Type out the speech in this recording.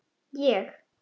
Ég?